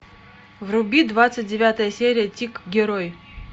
вруби двадцать девятая серия тик герой